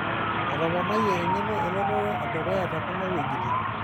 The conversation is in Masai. Etoponayie eng'eno elototo edukuya tekuna wuejitin.